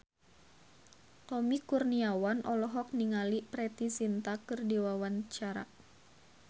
Tommy Kurniawan olohok ningali Preity Zinta keur diwawancara